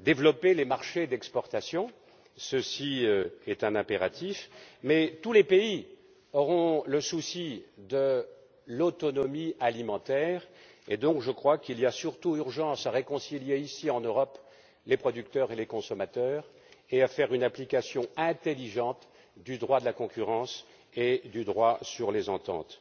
développer les marchés d'exportation c'est un impératif. Mais tous les pays auront le souci de l'autonomie alimentaire, et, donc, je crois qu'il y a surtout urgence à réconcilier ici, en Europe, les producteurs et les consommateurs, et à faire une application intelligente du droit de la concurrence et du droit sur les ententes.